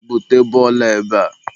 bute bọọlụ a ebea!